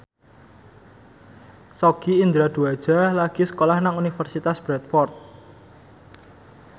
Sogi Indra Duaja lagi sekolah nang Universitas Bradford